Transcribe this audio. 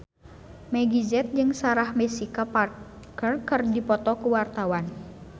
Meggie Z jeung Sarah Jessica Parker keur dipoto ku wartawan